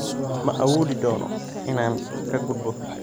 Ma awoodi doono inaan ka gudbo.